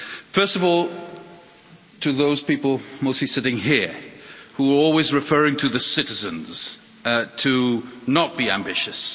First of all, to those people mostly sitting here, who are always referring to the citizens to not be ambitious.